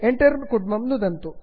enter नुदन्तु